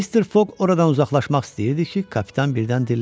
Mr. Foq oradan uzaqlaşmaq istəyirdi ki, kapitan birdən dilləndi.